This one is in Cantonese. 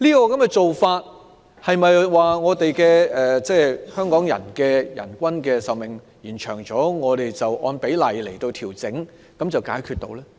此舉是否由於香港人的平均壽命延長，我們據此按比例調整，便可解決問題？